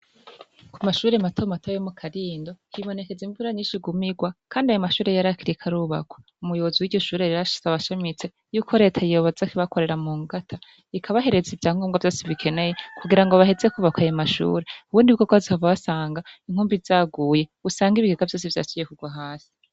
Kumashure mato mato yo mukarindo, hibonekeza imvura nyinshi iguma igwa , kandi ayo mashure yarakiriko arubakwa. Umuyobozi wiryo shure rero asaba ashimitse, yuko Leta yoza kubakorera mungata ikabahereza ivyangombwa vyose bikenewe kugirango baheze kwubaka ayo mashure ,ubundibwobwo bazohava basanga inkumbi zaguye usange ibiyo vyose vyasubiye kugwa hasi.